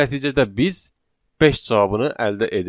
Və nəticədə biz beş cavabını əldə edirik.